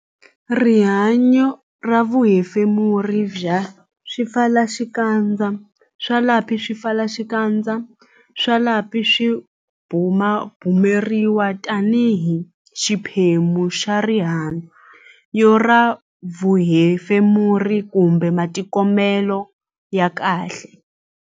Rihanyo ra vuhefemuri ra swipfalaxikandza swa lapi Swipfalaxikandza swa lapi swi bumabumeriwa tanihi xiphemu xa rihan-yo ra vuhefemuri kumbe matikhomelo ya kahle